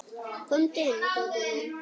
Komdu inn, Tóti minn.